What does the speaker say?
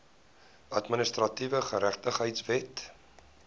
administratiewe geregtigheid wet